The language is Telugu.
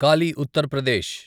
కాలి ఉత్తర్ ప్రదేశ్